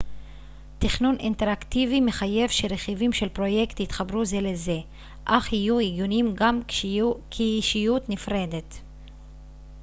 תכנון אינטראקטיבי מחייב שרכיבים של פרויקט יתחברו זה לזה אך יהיו הגיוניים גם כישות נפרדת